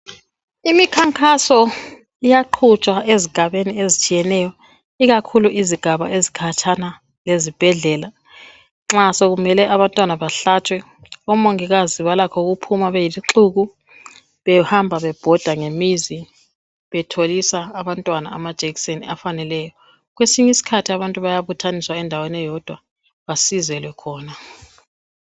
Imikhankaso iyaqhutshwa azigabeni ezitshiyeneyo ikakhulu izigaba ezikhatshana lezibhedlela nxa sokumele abantwana bahlatshwe omongikazi balakho ukuphuma beyisixuku behamba bebhoda ngemizi betholisa abantwana amajekiseni afaneleyo kwesinye isikhathi abantu bayabuthaniswa endaweni eyodwa basizelwe khona.